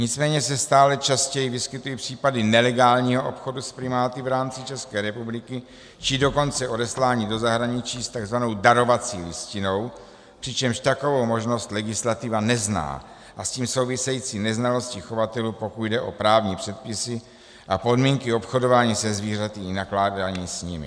Nicméně se stále častěji vyskytují případy nelegálního obchodu s primáty v rámci České republiky, či dokonce odeslání do zahraničí s tzv. darovací listinou, přičemž takovou možnost legislativa nezná, a s tím související neznalosti chovatelů, pokud jde o právní předpisy a podmínky obchodování se zvířaty i nakládání s nimi.